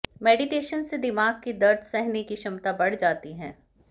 meditation से दिमाग की दर्द सहने की क्षमता बढ़ जाती है